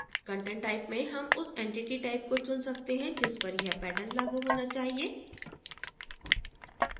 content type में हम उस entity type को चुन सकते हैं जिस पर यह pattern लागू होना चाहिए